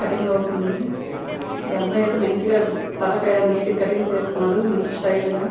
Cutting అవుతుంది. ఈ అబ్బాయి అయితే మంచిగా తలకి నీటు గా కట్టింగ్ చేసుకున్నాడు. మంచి స్టైల్ గా.